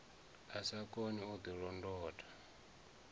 a sa koni u ḓilondota